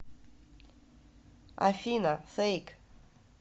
афина фэйк